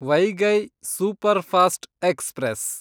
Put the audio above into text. Vaigai Superfast express